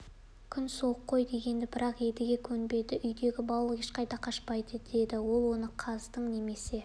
күн суық қой деген бірақ едіге көнбеді үйдегі балық ешқайда қашпайды деді ол оны қаздың немесе